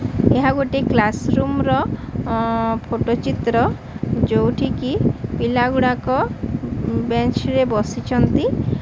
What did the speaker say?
ଏହା ଗୋଟିଏ class room ର ଅ ଫଟ ଚିତ୍ର ଯୋଉଠି କି ପିଲା ଗୁଡ଼ାକ ବେଞ୍ଚ୍ ରେ ବସିଚନ୍ତି।